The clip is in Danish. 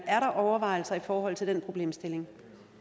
er der overvejelser i forhold til den problemstilling